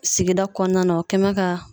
Sigida kɔnɔna na o kɛ mɛ ka